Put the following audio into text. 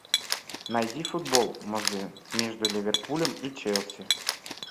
найди футбол между ливерпулем и челси